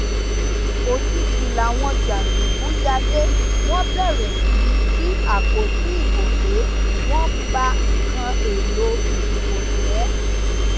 òjijì làwọn jàǹdùkú yá dé wọn bẹrẹ sí í jí àpótí ìbò gbé wọn ń ba nǹkan èèlò ìdìbò jẹ